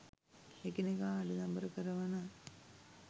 එකිනෙකා අඬදබර කරවන